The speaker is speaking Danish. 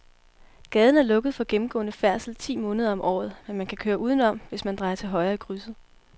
Gaden er lukket for gennemgående færdsel ti måneder om året, men man kan køre udenom, hvis man drejer til højre i krydset.